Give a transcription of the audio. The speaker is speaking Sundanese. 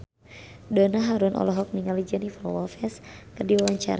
Donna Harun olohok ningali Jennifer Lopez keur diwawancara